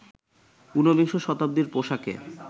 উনবিংশ শতাব্দীর পোশাকে